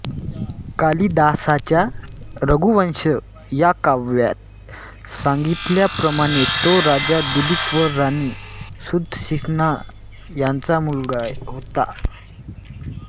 कालिदासाच्या रघुवंश या काव्यात सांगितल्याप्रमाणे तो राजा दिलीप व राणी सुदक्षिणा यांचा मुलगा होता